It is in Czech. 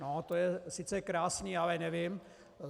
No to je sice krásné, ale nevím.